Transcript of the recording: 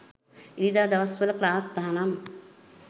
ඉරිදා දවස් වල ක්ලාස් තහනම්